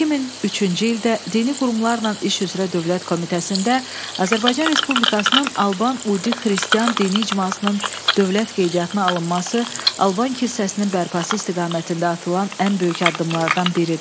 2003-cü ildə dini qurumlarla iş üzrə Dövlət Komitəsində Azərbaycan Respublikasının Alban Udi xristian dini icmasının dövlət qeydiyyatına alınması Alban kilsəsinin bərpası istiqamətində atılan ən böyük addımlardan biridir.